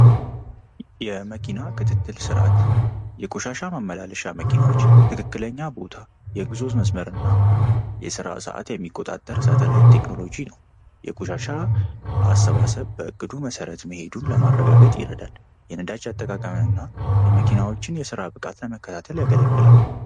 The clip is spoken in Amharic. የመኪና ክትትል ስርዓት የቆሻሻ ማመላለሻ መኪኖች ትክክለኛ ቦታ የጉዞ መስመር እና የሥራ ሰዓት የሚቆጣጠር ሳተላይት ቴክኖሎጂ ነው። የቆሻሻ አሰባሰብ በዕቅዱ መሠረት መሄዱን ለማረጋገጥ ይረዳል። የነዳጅ አጠቃቀም እና የመኪናዎችን የሥራ ብቃት ለመከታተል ያገለግላል።